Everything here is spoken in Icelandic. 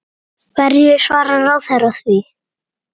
Hverju svarar ráðherra því?